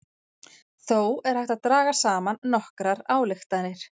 Þó er hægt að draga saman nokkrar ályktanir.